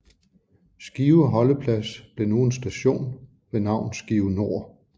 Skive holdeplads blev nu en station ved navn Skive Nord